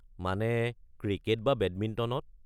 মানে, ক্রিকেট বা বেডমিণ্টনত।